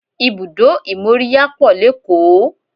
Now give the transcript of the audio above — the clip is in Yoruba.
Ibùdó ìmóríyá pọ̀ lékòó